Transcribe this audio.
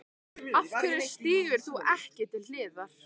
Af hverju stígur þú ekki til hliðar?